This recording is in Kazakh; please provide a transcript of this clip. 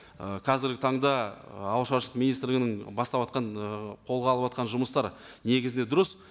ы қазіргі таңда ы ауыл шаруашылық министрлігінің баставатқан ыыы қолға алыватқан жұмыстары негізінде дұрыс